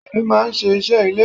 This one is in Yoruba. Obìnrin máa ń ṣe iṣẹ́ ilé.